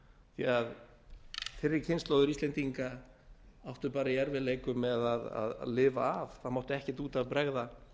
því að fyrri kynslóðir íslendinga áttu bara í erfiðleikum með að lifa af það mátti ekkert út af bregða